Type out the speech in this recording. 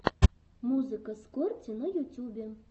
музыка скорти на ютюбе